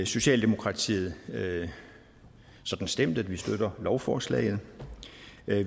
socialdemokratiet sådan stemt at vi støtter lovforslaget